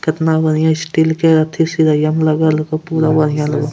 कितना बढ़िया स्टील के अथी सिरहिये मे लगल हिके पूरा बढ़िया लगे।